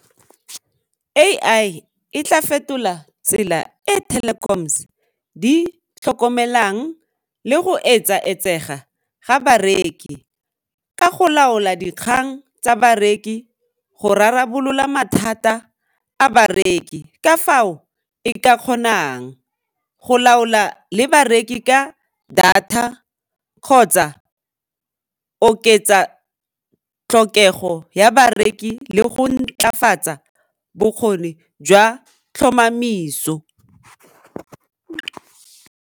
A_I e tla fetola tsela e di tlhokomelang le go etsaetsega ga bareki ka go laola dikgang tsa bareki go rarabolola mathata a bareki ka fao e ka kgonang go laola le bareki ka data kgotsa oketsa tlhokego ya bareki le go ntlafatsa bokgoni jwa tlhomamiso.